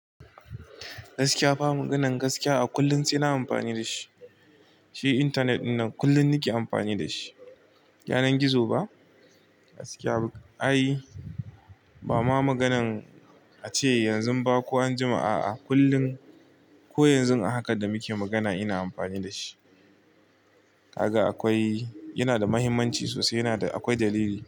Gaskiya fa, maganan gaskiya a kullum sai na amfani da shi. Shi Internet ɗinnan kullum nike amfani da shi. Yanar gizo ba? Gaskiya ai, bama maganan ace yanzu ba ko anjima a'a kullum ko yanzu a haka da muke magana ina amfani da shi. Kaga akwai, yana da mahimmanci sosai. Yana da, akwai dalili.